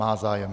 Má zájem.